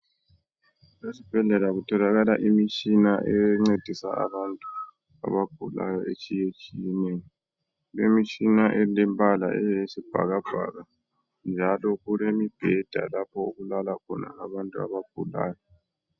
Esibhedlela kutholakala imitshina encedisa abantu abagulayo etshiyetshiyeneyo. Kulemitshina elemibala eyisibhakabhaka njalo kulemibheda lapho okulala khona abantu abagulayo